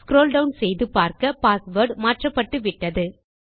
scroll down செய்து பார்க்க password மாற்றப்பட்டுவிட்டது